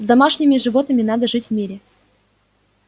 с домашними животными надо жить в мире